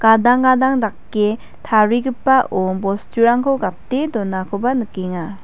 adang gadang dake tarigipao bosturangko gate donakoba nikenga.